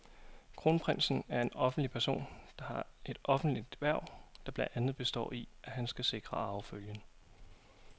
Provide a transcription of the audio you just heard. Kronprinsen er en offentlig person, der har et offentligt hverv, der blandt andet består i, at han skal sikre arvefølgen.